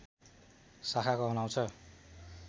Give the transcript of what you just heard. शाखा कहलाउँछ